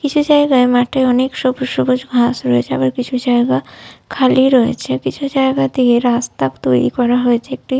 কিছু জায়গায় মাঠে অনেক সবুজ সবুজ ঘাস রয়েছে। আবার কিছু জায়গা খালি রয়েছে। কিছু জায়গা দিয়ে রাস্তা তৈরী করা হয়েছে। একটি।